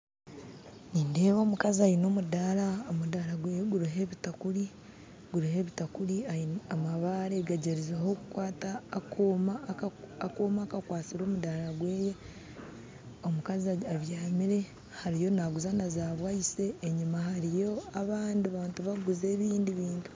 Nindeeba omukazi aine omundaara, omundaara gweye guriho ebitakuuri amabaare gagyerizeho kukwata akooma akakwatsire omundaara gweye omukazi abyamire ariyo naguza naza bwayise enyuma hariyo abandi bantu bakuguza ebindi bintu